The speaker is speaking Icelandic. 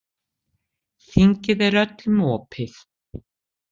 Þingið er öllum opið.